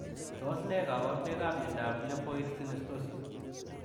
Tos ne kabaruboik ap miondoop Lapoid sinostosi?